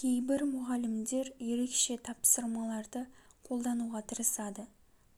кейбір мұғалімдер ерекше тапсырмаларды қолдануға тырысады